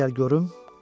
İrəli gəl görüm!